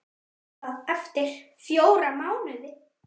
Það er eftir fjóra mánuði.